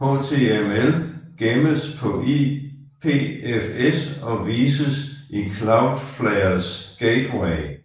HTML gemmes på IPFS og vises via Cloudflares gateway